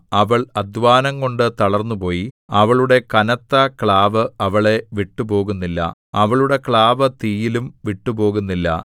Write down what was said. അവൾ അദ്ധ്വാനംകൊണ്ടു തളർന്നുപോയി അവളുടെ കനത്ത ക്ലാവ് അവളെ വിട്ടുപോകുന്നില്ല അവളുടെ ക്ലാവ് തീയിലും വിട്ടുപോകുന്നില്ല